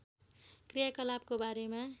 क्रियाकलापको बारेमा